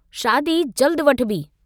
शादी जल्द वठिबी।